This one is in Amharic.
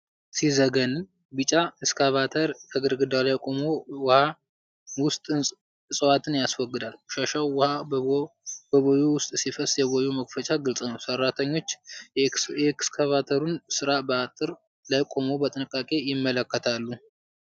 ሲዘገንን! ቢጫ ኤክስካቫተር ከግድግዳ ላይ ቆሞ የውሃ ውስጥ እፅዋትን ያስወግዳል። ቆሻሻው ውሃ በቦዩ ውስጥ ሲፈስ፣ የቦይው መክፈቻ ግልፅ ነው። ሠራተኞች የኤክስካቫተሩን ሥራ በአጥር ላይ ቆመው በጥንቃቄ ይመለከታሉ።